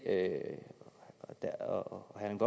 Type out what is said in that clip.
at herre erling